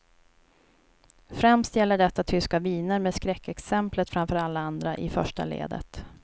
Främst gäller detta tyska viner med skräckexemplet framför alla andra i första ledet.